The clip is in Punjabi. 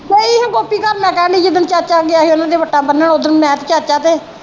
ਗਈ ਹਾਂ ਗੋਪੀ ਘਰ ਮੈ ਕਹਿਣ ਦੀ ਜਿਦਣ ਚਾਚਾ ਗਿਆ ਹੀ ਉਹਨਾਂ ਦੀ ਵੱਟਾ ਬਨਣ ਓਦਣ ਮੈ ਤੇ ਚਾਚਾ ਤੇ।